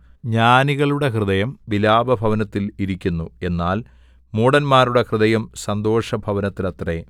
ജ്ഞാനികളുടെ ഹൃദയം വിലാപഭവനത്തിൽ ഇരിക്കുന്നു എന്നാൽ മൂഢന്മാരുടെ ഹൃദയം സന്തോഷഭവനത്തിലത്രേ